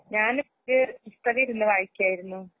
ഞാന് പുതിയെ പുസ്തകയിരുന്ന് വായിക്കയാരുന്നു.